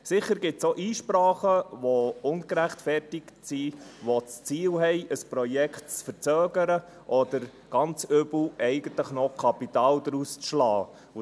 Sicher gibt es auch ungerechtfertigte Einsprachen, die bezwecken, ein Projekt zu verzögern oder – ganz übel – noch Kapital daraus zu schlagen.